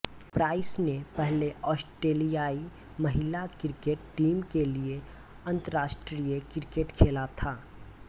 price ने पहले ऑस्ट्रेलियाई महिला क्रिकेट टीम के लिए अंतर्राष्ट्रीय क्रिकेट खेला था